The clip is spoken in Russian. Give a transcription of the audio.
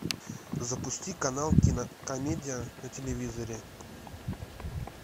запусти канал кинокомедия на телевизоре